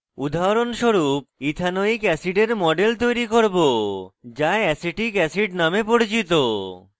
উদাহরণস্বরূপ ethanoic ethanoic অ্যাসিডের model তৈরী করব যা অ্যাসিটিক acetic অ্যাসিড নামে পরিচিত